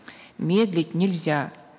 медлить нельзя